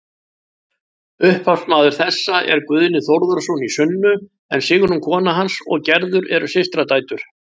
Upphafsmaður þessa er Guðni Þórðarson í Sunnu en Sigrún kona hans og Gerður eru systradætur.